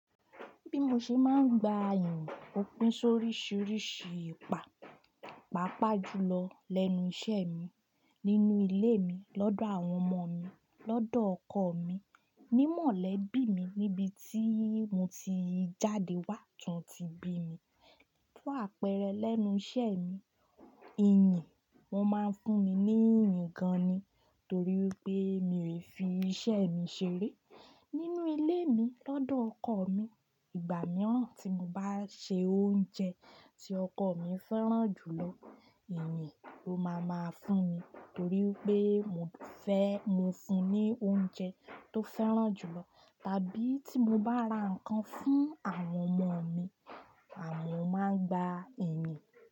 Bí mo ṣe máa ń gba ìyìn òpin sóríṣiríṣi ipa, pàápàá jù lọ lẹ́nu iṣẹ́ mi, nínú ileé mi, lọ́dọ̀ àwọn ọmoọ mi, lọ́dọ̀ ọkọ mi, nímọ̀lẹ́bí mi níbi tí mo ti jáde wá tán ti bí mi. Fún àpẹẹrẹ, lẹ́nu iṣẹ́e mi, ìyìn won máa ń fún mi ní ìyìn gan-an ni itorí pé mi ò fi iṣẹ́ mi ṣeré. Nínú ilé mi lọ́dọ̀ ọkọ mi, ìgbà mìíràn tí mo bá ṣe oúnjẹ tí ọkọ mi fẹ́ràn jù lọ, ìyìn ló máa máa fún mi toríi pé mo fẹ́ mo fun ní oúnjẹ tó fẹ́ràn jù lọ. Tàbí tí mo bá ra nǹkan fún àwọn ọmọ mi, à mọ́ máa n gba ìyìn.